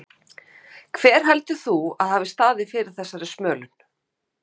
Hjördís: Hver heldur þú að hafi staðið fyrir þessari smölun?